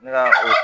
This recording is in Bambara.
Ne ka o